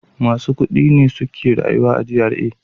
Masu kudi ne suke rayuwa a GRA.